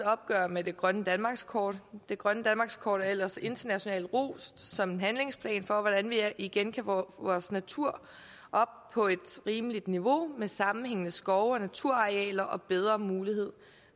opgør med det grønne danmarkskort det grønne danmarkskort er ellers internationalt rost som en handlingsplan for hvordan vi igen kan få vores natur op på et rimeligt niveau med sammenhængende skove og naturarealer og bedre mulighed